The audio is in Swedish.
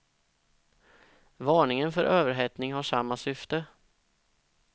Varningen för överhettning har samma syfte.